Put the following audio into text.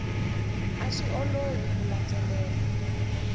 a swi olovi ku landzelela